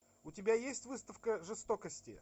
у тебя есть выставка жестокости